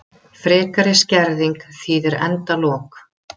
Frekari skerðing þýðir endalok